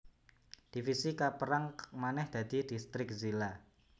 Divisi kapérang manèh dadi distrik zila